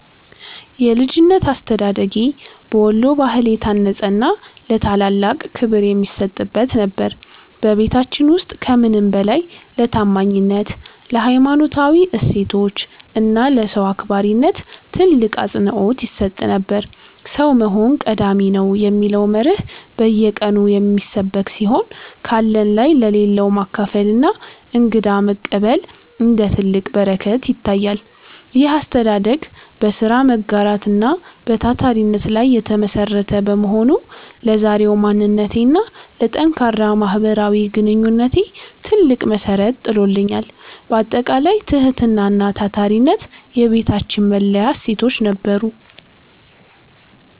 የልጅነት አስተዳደጌ በወሎ ባህል የታነጸና ለታላላቅ ክብር የሚሰጥበት ነበር። በቤታችን ውስጥ ከምንም በላይ ለታማኝነት፣ ለሀይማኖታዊ እሴቶች እና ለሰው አክባሪነት ትልቅ አፅንዖት ይሰጥ ነበር። "ሰው መሆን ቀዳሚ ነው" የሚለው መርህ በየቀኑ የሚሰበክ ሲሆን፣ ካለን ላይ ለሌለው ማካፈልና እንግዳ መቀበል እንደ ትልቅ በረከት ይታያል። ይህ አስተዳደግ በሥራ መጋራት እና በታታሪነት ላይ የተመሠረተ በመሆኑ፣ ለዛሬው ማንነቴና ለጠንካራ ማህበራዊ ግንኙነቴ ትልቅ መሠረት ጥሎልኛል። ባጠቃላይ፣ ትህትናና ታታሪነት የቤታችን መለያ እሴቶች ነበሩ።